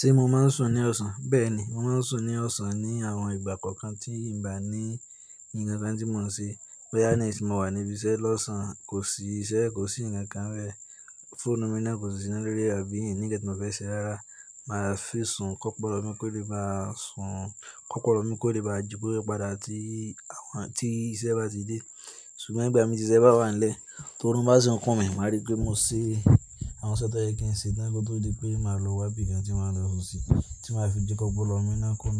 Ṣé mo máa ń sùn ní ọ̀sán? Bẹ́ẹ̀ni, mo máa ń sùn ní ọ̀sán ní àwọn ìgbà kọ̀ọ̀kan tí n bà ní ǹkan tí mò ń ṣe. Bóyá ní sín mọ̀wà níbi iṣẹ́ lọ́sàn-án, kò sí iṣẹ́, kò sí ǹkan rẹ́, fóònù mi náà kò sì sí iná lórí rẹ́ àbí n ní nkan tí mò fẹ́ ṣe rárá. Màá fi sùn kọ́pọlọ mi kóle ba sùn kọ́pọlọ mi kóle ba jí kó rí padà tí àwọn tí iṣẹ́ bá ti dé. Ṣùgbọ́n ìgbà mí tí iṣẹ́ bá wà nílẹ̀, tó run bá sì ń kán mi, màá rí pé mo ṣe àwọn isẹ́ tó yẹ kí n ṣe tán kó tó di pé màá lọ wá ibi ǹkan tí màá lọ sùn sí, tí màá fi jẹ́ kó pọ́lọmi náà kó òun